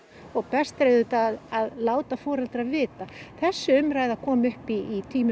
og best er auðvitað að láta foreldra vita þessi umræða kom upp í tíma